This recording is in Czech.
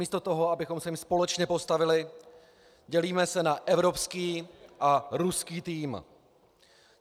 Místo toho, abychom se jim společně postavili, dělíme se na evropský a ruský tým.